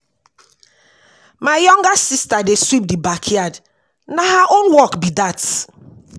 My younger sista dey sweep di backyard, na her own work be dat.